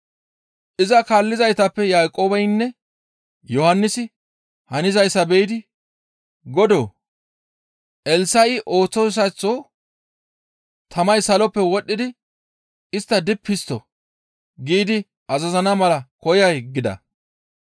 Iza kaallizaytappe Yaaqoobeynne Yohannisi hanizayssa be7idi, «Godoo! Eelaasi ooththoyssaththo, ‹Tamay saloppe wodhdhidi istta dippi histto!› giidi azazana mala koyay?» gida.